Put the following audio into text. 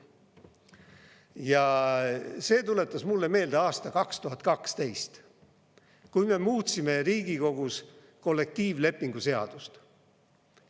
Ja see tuletas mulle meelde aasta 2012, kui me muutsime Riigikogus kollektiivlepingu seadust.